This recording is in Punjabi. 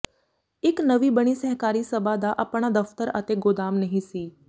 ਇੱਕ ਨਵੀ ਬਣੀ ਸਹਿਕਾਰੀ ਸਭਾ ਦਾ ਆਪਣਾ ਦਫ਼ਤਰ ਅਤੇ ਗੋਦਾਮ ਨਹੀਂ ਸੀ